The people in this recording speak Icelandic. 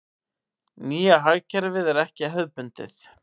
Nýja hagkerfið er ekki hefðbundið.